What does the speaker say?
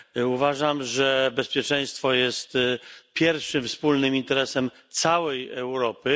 Uważam, że bezpieczeństwo jest pierwszym wspólnym interesem całej Europy.